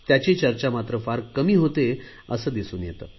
त्याची चर्चा मात्र फार कमी होते असे दिसून येते